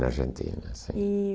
Na Argentina, sim. E